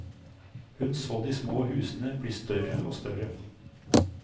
Hun så de små husene bli større og større.